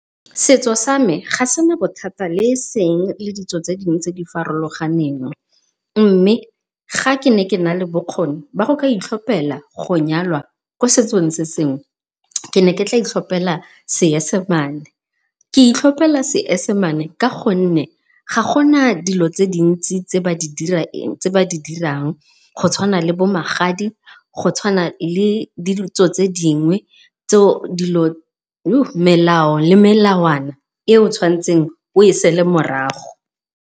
Setso sa me ga sena bothata le eseng le ditso tse dingwe tse di farologaneng, mme ga ke ne ke na le bokgoni jwa go itlhopela go nyalwa ko setsong se se ngwe ke ne ke tla itlhopela Seesemane ke itlhopela Seesemane ka gonne ga gona dilo di le dintsi tse ba di dirang. Go tshwana le bo magadi, go tshwana le ditso tse dingwe tseo melao le melawana e o tshwanetseng o e sale morago.